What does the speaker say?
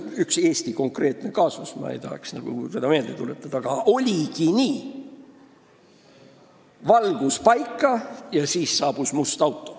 Ühe Eesti konkreetse kaasuse puhul, mida ma ei tahaks meelde tuletada, oligi nii: valgus saadi paika ja siis saabus must auto.